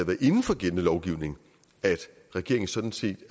været inden for gældende lovgivning at regeringen sådan set